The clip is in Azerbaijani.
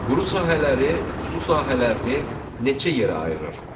Quru sahələri su sahələrini neçə yerə ayırır?